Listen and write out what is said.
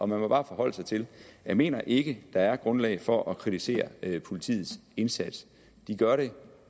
man bare forholde sig til jeg mener ikke at der er grundlag for at kritisere politiets indsats de gør det